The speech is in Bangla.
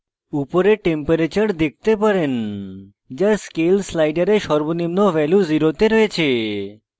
উপরে temperature তাপমাত্রা দেখতে পারেন যা scale slider সর্বনিম্ন value 0 শূন্য তে রয়েছে